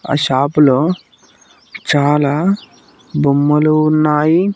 ఆ షాపులో చాలా బొమ్మలు ఉన్నాయి.